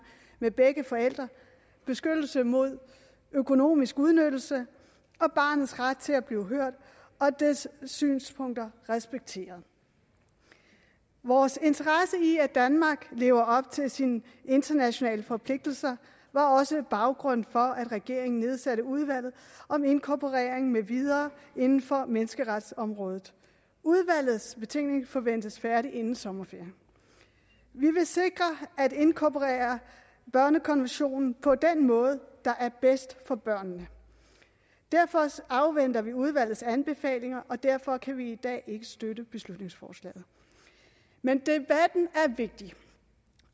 med begge forældre beskyttelse mod økonomisk udnyttelse og barnets ret til at blive hørt og dets synspunkter respekteret vores interesse i at danmark lever op til sine internationale forpligtelser var også baggrunden for at regeringen nedsatte udvalget om inkorporering med videre inden for menneskeretsområdet udvalgets betænkning forventes færdig inden sommerferien vi vil sikre at inkorporere børnekonventionen på den måde der er bedst for børnene derfor afventer vi udvalgets anbefalinger og derfor kan vi i dag ikke støtte beslutningsforslaget men debatten er vigtig